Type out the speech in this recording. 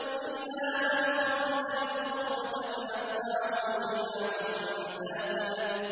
إِلَّا مَنْ خَطِفَ الْخَطْفَةَ فَأَتْبَعَهُ شِهَابٌ ثَاقِبٌ